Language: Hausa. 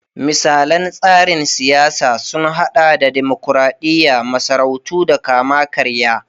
Misalan tsarin siyasa sun hada da dimokuradiyya, masarautu da kama-karya.